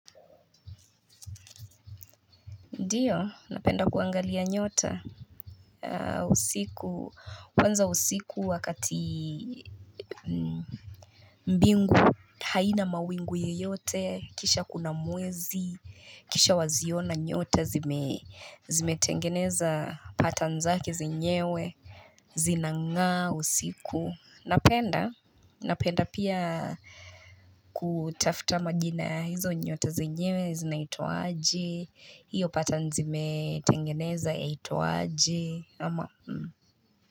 Ndiyo napenda kuangalia nyota usiku kwanza usiku wakati mbingu haina mawingu yoyote kisha kuna mwezi kisha waziona nyota zimetengeneza patan zake zinyewe zinangaa usiku napenda napenda pia Kutafta majina hizo nyota zinyewe zinaitwa je hiyo pata nzimetangeneza yahitwa je ama.